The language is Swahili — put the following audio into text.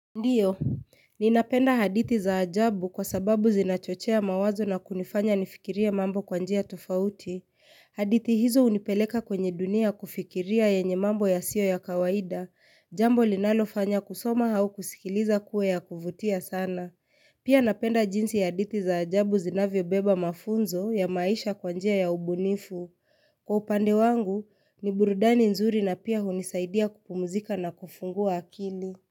Ndiyo, ninapenda haditi za ajabu kwa sababu zinachochea mawazo na kunifanya nifikirie mambo kwa njia tofauti. Haditi hizo unipeleka kwenye dunia kufikiria yenye mambo ya sio ya kawaida, jambo linalofanya kusoma hau kusikiliza kuwe ya kuvutia sana. Pia napenda jinsi ya haditi za ajabu zinavyo beba mafunzo ya maisha kwanjia ya ubunifu. Kwa upande wangu, ni burudani nzuri na pia hunisaidia kupumzika na kufungua akili.